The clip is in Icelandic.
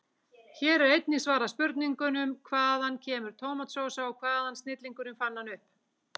Hér er einnig svarað spurningunum: Hvaðan kemur tómatsósa og hvaða snillingur fann hana upp?